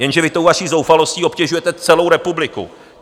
Jenže vy tou vaší zoufalostí obtěžujete celou republiku.